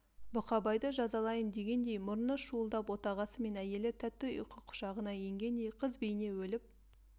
бұқабайды жазалайын дегендей мұрны шуылдап отағасы мен әйелі тәтті ұйқы құшағына енгендей қыз бейне өліп